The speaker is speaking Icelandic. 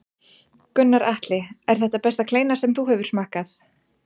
Gunnar Atli: Er þetta besta kleina sem þú hefur smakkað?